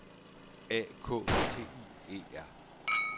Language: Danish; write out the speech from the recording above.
A K T I E R